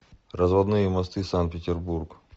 разводные мосты санкт петербург